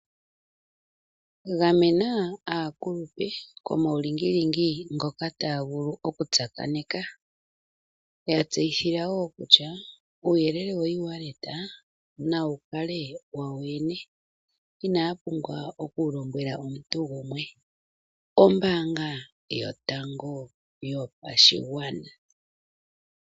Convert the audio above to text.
Gamena aakulupe komawu lingilingi ngoka taya vulu oku tsakaneka. Yatseyithila kutya uuyelele woewaleta nawu kale wawo yo yene inaya pumbwa okuwu lombwela omuntu gumwe. Ombanga yotango yopashigwana.